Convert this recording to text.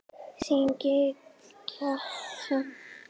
Þín, Gígja.